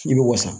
I bɛ wasa